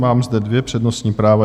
Mám zde dvě přednostní práva.